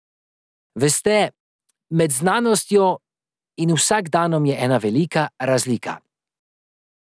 Veste, med znanostjo in vsakdanom je ena velika razlika.